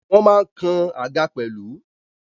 Wọ́n ma ń kan àga pẹ̀lú.